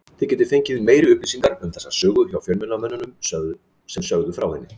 Þið getið fengið meiri upplýsingar um þessa sögu hjá fjölmiðlamönnunum sem sögðu frá henni.